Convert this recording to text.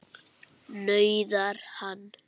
nauðar hann.